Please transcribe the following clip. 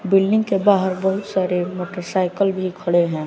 Building के बाहर बहुत सारे मोटरसाइकिल भी खड़े हैं।